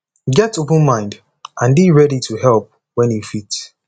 get open mind and dey ready to help when you fit